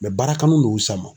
baara kanu de y'u s'a ma.